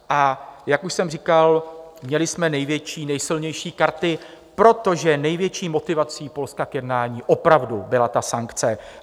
A jak už jsem říkal, měli jsme největší, nejsilnější karty, protože největší motivací Polska k jednání opravdu byla ta sankce.